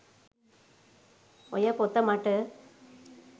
ඔය පොත මට